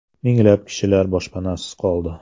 Minglab kishilar boshpanasiz qoldi.